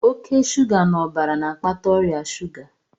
Oke shuga n'ọbara na-akpata ọrịa shuga